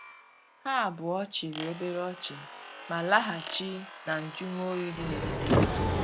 Ha abuo chiri obere ochi, ma lahachi na njumo oyi di na etiti ha.